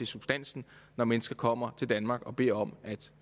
substansen når mennesker kommer til danmark og beder om at